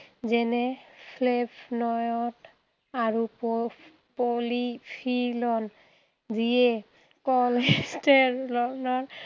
যেনে flavonoids আৰু so polyfill on যিয়ে cholesterol ৰ নৰ